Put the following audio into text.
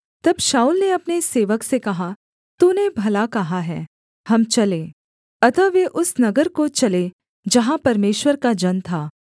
तब शाऊल ने अपने सेवक से कहा तूने भला कहा है हम चलें अतः वे उस नगर को चले जहाँ परमेश्वर का जन था